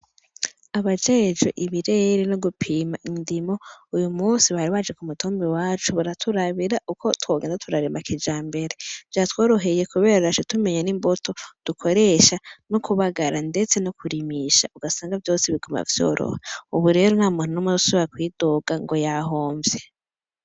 Abajejwe ibirere no gupima indimwo uno musi bari baje kumutumba iwacu baraturabira uko twogenda turarima kijambere vyatworoheye kubera twaca tumenya ni mbuto dukoresha no kubagara ndetse no kurimisha ugasanga vyose biguma vyoroha ubu rero ntamuntu numwe azosubira kwidoga ngo yahomvye